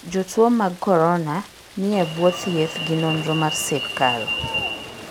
Jotuo mag Corona ni e bwo thieth gi nonro mar sirkal.